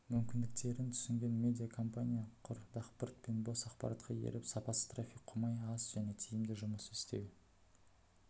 мүмкіндіктерін түсінген медиа компания құр дақпырт пен бос ақпаратқа еріп сапасыз трафик қумай аз және тиімді жұмыс істеу